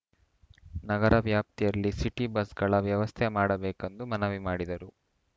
ನಗರ ವ್ಯಾಪ್ತಿಯಲ್ಲಿ ಸಿಟಿ ಬಸ್‌ಗಳ ವ್ಯವಸ್ಥೆ ಮಾಡಬೇಕೆಂದು ಮನವಿ ಮಾಡಿದರು